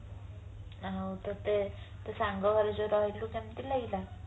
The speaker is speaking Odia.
ଆଉ ତତେ ତୋ ସାଙ୍ଗ ଘରେ ଯୋଉ ରହିଲୁ କେମତି ଲାଗିଲା